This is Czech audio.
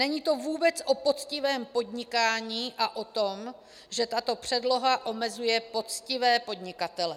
Není to vůbec o poctivém podnikání a o tom, že tato předloha omezuje poctivé podnikatele.